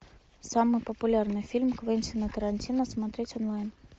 самый популярный фильм квентина тарантино смотреть онлайн